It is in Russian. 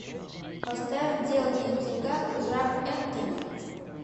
поставь дело не в деньгах жак энтони